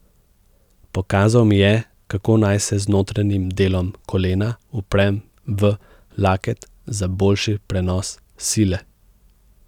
Pokazal mi je, kako naj se z notranjim delom kolena uprem v laket za boljši prenos sile.